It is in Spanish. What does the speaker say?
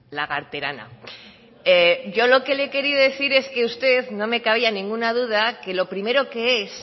lagarterana yo lo que le he querido decir es que usted no me cabía ninguna duda que lo primero que es